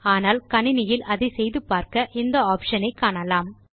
ஆனால் கணினியில் அதை செய்து பார்க்க இந்த ஆப்ஷன் ஐ காணலாம்